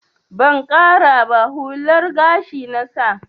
Ban ƙara ba, hular gashi na sa.